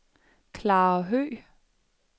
Klara Høgh